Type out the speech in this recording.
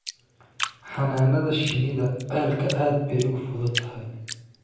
Xannaanada shinnida ceelka aad bay u fududahay